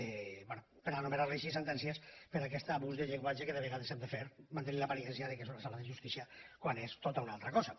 bé per anomenar ho així sentències per aquest abús de llenguatge que de vegades s’ha de fer mantenir l’aparença que és una sala de justícia quan és tota una altra cosa